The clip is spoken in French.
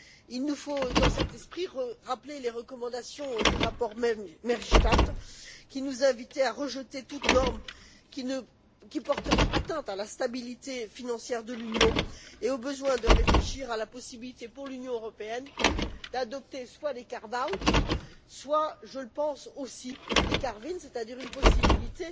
Il nous faut, dans cet esprit, rappeler les recommandations du rapport Maystadt, qui nous invitait à rejeter toute norme qui porterait atteinte à la stabilité financière de l'Union et au besoin à réfléchir à la possibilité pour l'Union européenne d'adopter, soit des carve out soit, je le pense aussi, des carve in c'est à dire une possibilité